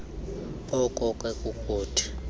oko ke kukuthi